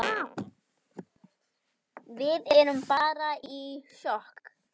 Við erum bara í sjokki.